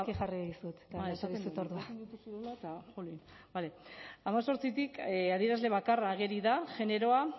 hemezortzitik adierazle bakarra ageri da generoa